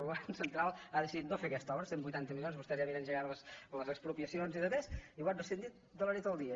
el govern central ha decidit no fer aquesta obra cent i vuitanta milions vostès ja havien engegat les expropiacions i altres i ho han rescindit de la nit al dia